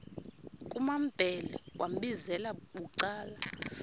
kumambhele wambizela bucala